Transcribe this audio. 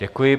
Děkuji.